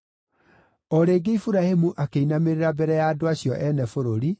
O rĩngĩ Iburahĩmu akĩinamĩrĩra mbere ya andũ acio ene bũrũri,